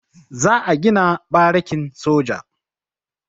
Za a gina barikin soja.